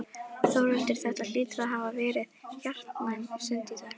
Þórhildur, þetta hlýtur að hafa verið hjartnæm stund í dag?